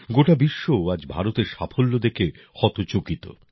গোটা বিশ্ব আজ ভারতের সাফল্য দেখে হতচকিত